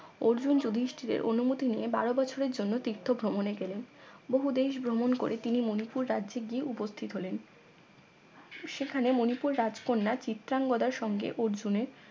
অর্জুন যুধীষ্টিরের অনুমতি নিয়ে বারো বছরের জন্য তীর্থ ভ্রমণে গেলেন বহুদেশ ভ্রমণ করে তিনি মনিপুর রাজ্যে গিয়ে উপস্থিত হলেন সেখানে মনিপুর রাজকন্যা চিত্রাংগদার সঙ্গে অর্জুনের